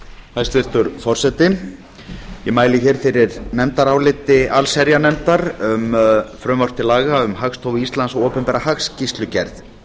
hæstvirtur forseti ég mæli hér fyrir nefndaráliti allsherjarnefndar um frumvarp til laga um hagstofu íslands og opinbera hagskýrslugerð